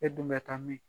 E dun bɛ taa min